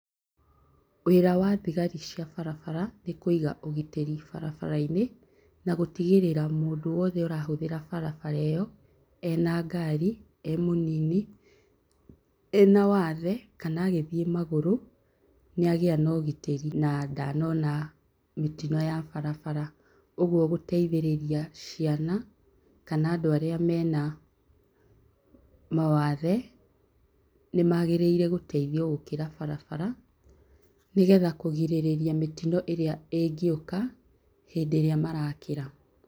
Wĩra wa thigari cia barabara nĩkũiga ũgitĩra barabara-inĩ na gũtigĩrĩra mũndũ wothe arahũthĩra barabara ĩyo, ena ngari, emũnini, ena wathe, kana agĩthiĩ magũrũ nĩagĩa na ũgitĩri na ndanona mĩtino ya barabara. ũguo gũteithĩrĩria ciana kana andũ arĩa mena mawathe nĩmagĩrĩirwo gũteithio gũkĩra barabara, nĩgeta kũgirĩrĩria mĩtino ĩrĩa ĩngĩũka hĩndĩ ĩrĩa marakĩra.